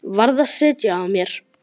Varð að sitja á mér.